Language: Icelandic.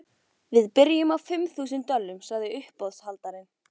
Við byrjum á fimm þúsund dölum, sagði uppboðshaldarinn.